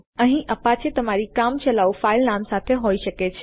અહીં તમારી પાસે અપાચે તમારી કામચલાઉ ફાઈલ નામ સાથે હોય શકે છે